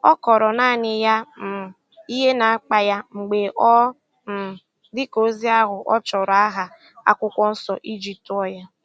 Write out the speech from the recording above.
Ọ kọọrọ naanị ya um ihe na-akpa ya mgbe ọ um dị ka ozi ahụ ọ chọrọ aha akwụkwọ Nsọ ijituo ya